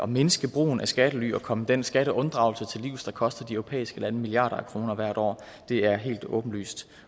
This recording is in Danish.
mindske brugen af skattely og komme den skatteunddragelse til livs der koster de europæiske lande milliarder af kroner hvert år det er helt åbenlyst